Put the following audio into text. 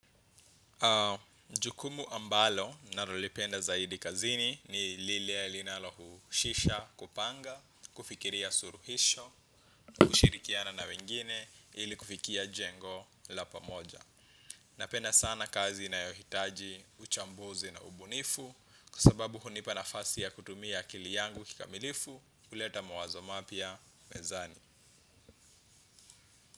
Jukumu ambalo nalolipenda zaidi kazini ni lile linalohusisha kupanga, kufikiria suluhisho, kushirikiana na wengine, ili kufikia jengo la pamoja. Napenda sana kazi inayohitaji uchambuzi na ubunifu, kwa sababu hunipa nafasi ya kutumia akili yangu kikamilifu, huleta mawazo mapya, mezani.